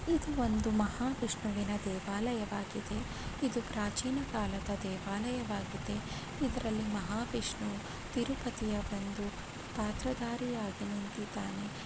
ಇದು ಒಂದು ಮಹಾ ವಿಷ್ಣುವಿನ ದೇವಾಲಯವಾಗಿದೆ ಇದು ಪ್ರಾಚೀನ ಕಾಲದ ದೇವಾಲಯವಾಗಿದೆ. ಇದ್ರಲ್ಲಿ ಮಹಾವಿಷ್ಣು ತಿರುಪತಿಯ ಒಂದು ಪಾತ್ರದಾರಿಯಾಗಿ ನಿಂತಿದ್ದಾನೆ .